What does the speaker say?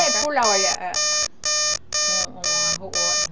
é, pula, olha